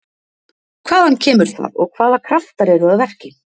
Hvaðan kemur það og hvaða kraftar eru að verki?